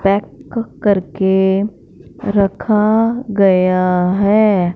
Pack करके रखा गया है।